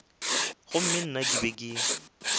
gomme nna ke be ke